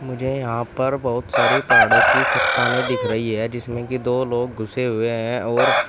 मुझे यहां पर बहुत सारी पहाड़ों की चट्टानें दिख रही है जिसमें की दो लोग घुसे हुए हैं और--